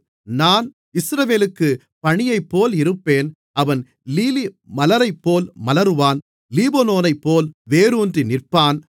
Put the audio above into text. நான் இஸ்ரவேலுக்குப் பனியைப்போல் இருப்பேன் அவன் லீலி மலரைப்போல் மலருவான் லீபனோனைப்போல் வேரூன்றி நிற்பான்